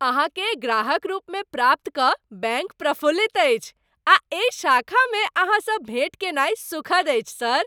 अहाँकेँ ग्राहक रूपमे प्राप्त कऽ बैंक प्रफुल्लित अछि आ एहि शाखामे अहाँसँ भेट कयनाय सुखद अछि, सर।